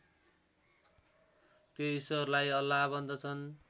त्यो ईश्वरलाई अल्लाह भन्दछन्